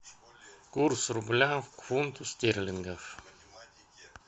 курс рубля к фунту стерлингов